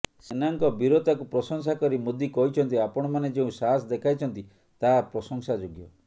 ସେନାଙ୍କ ବୀରତାକୁ ପ୍ରଶଂସା କରି ମୋଦି କହିଛନ୍ତି ଆପଣମାନେ ଯେଉଁ ସାହସ ଦେଖାଇଛନ୍ତି ତାହା ପ୍ରଶଂସାଯୋଗ୍ୟ